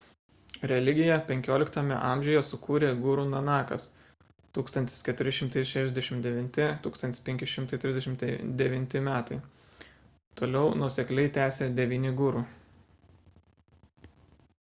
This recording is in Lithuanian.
religiją 15 amžiuje sukūrė guru nanakas 1469–1539 m.. toliau nuosekliai tęsė devyni guru